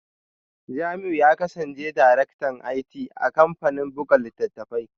Jamiu ya kasance Daraktan IT a kamfanin buga littattafai